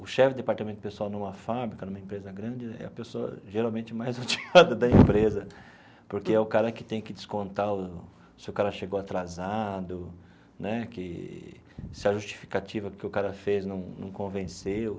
O chefe do departamento pessoal numa fábrica, numa empresa grande, é a pessoa geralmente mais odiada da empresa, porque é o cara que tem que descontar se o cara chegou atrasado né que, se a justificativa que o cara fez não não convenceu.